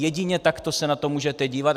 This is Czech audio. Jedině takto se na to můžete dívat.